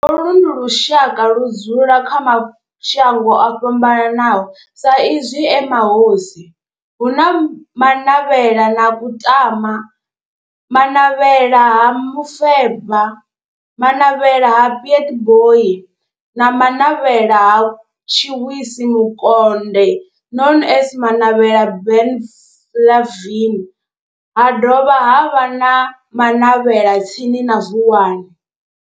Vha Ha-Manavhela, holu ndi lushaka ludzula kha mashango ofhambanaho sa izwi e mahosi hu na Manavhela na Kutama, Manavhela ha Mufeba, Manavhela ha Pietboi na Manavhela ha Tshiwisi Mukonde known as Manavhela Benlavin ha dovha havha na Manavhela tsini na Vuwani.